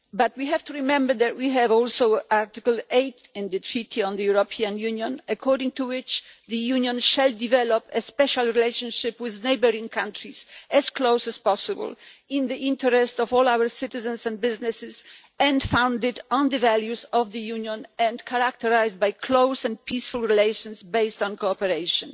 We have to remember that we have also Article 8 of the Treaty on European Union according to which the Union shall develop a special relationship with neighbouring countries as close as possible in the interest of all our citizens and businesses and founded on the values of the Union, and characterised by close and peaceful relations based on cooperation.